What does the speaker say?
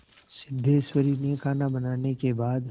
सिद्धेश्वरी ने खाना बनाने के बाद